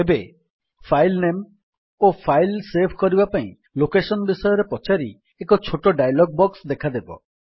ଏବେ file name ଓ file save କରିବା ପାଇଁ ଲୋକେଶନ୍ ବିଷୟରେ ପଚାରି ଏକ ଛୋଟ ଡାୟଲଗ୍ ବକ୍ସ ଦେଖାଦେବ